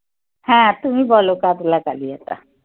হ্যাঁ তুমি বলো কাতলা কালিয়াটা.